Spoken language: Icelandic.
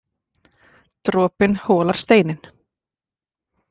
Dropinn holar steininn